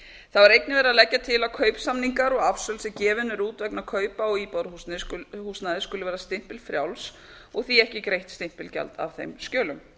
það var einnig verið að leggja til að kaupsamningar og afsöl sem gefin eru út vegna kaupa á íbúðarhúsnæði skuli vera stimpilfrjáls og því ekki greitt stimpilgjald af þeim skjölum